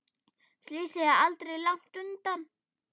Slysið er aldrei langt undan.